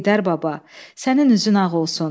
Heydər Baba, sənin üzün ağ olsun.